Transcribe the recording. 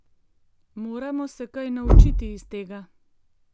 Moramo se kaj naučiti iz tega.